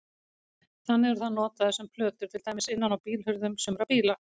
Þannig eru þær notaðar sem plötur til dæmis innan á bílhurðum sumra bíla.